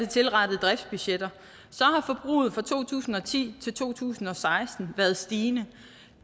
tilrettede driftsbudgetter fra to tusind og ti til to tusind og seksten været stigende